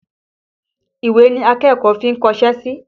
Ìwé ni akẹ́kọ̀ọ́ fi ń kọṣẹ́ sí.